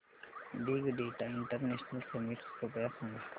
big data international summit कृपया सांगा